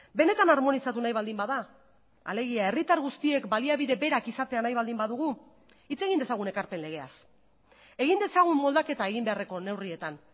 benetan harmonizatu nahi baldin bada alegia herritar guztiek baliabide berak izatea nahi baldin badugu hitz egin dezagun ekarpen legeaz egin dezagun moldaketa egin beharreko neurrietan